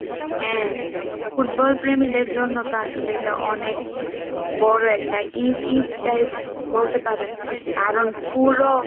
football প্রেমীদের জন্য তো আসলে এটা অনেক বড় একটা ঈদ ঈদ type বলতে পারেন কারণ school ও